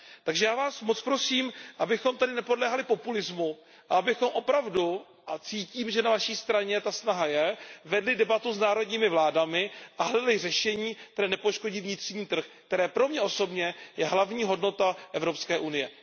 Takže já vás moc prosím, abychom tady nepodléhali populismu a abychom opravdu a cítím, že na vaší straně ta snaha je vedli debatu s národními vládami a hledali řešení, která nepoškodí vnitřní trh, ktery pro mě osobně je hlavní hodnotou Evropské unie.